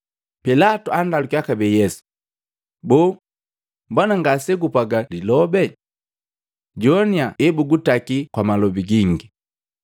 Pilatu andalukiya kabee Yesu, “Boo, mbona ngasegupwaga lilobe? Joannya ebugutaki kwa malobi gingi.”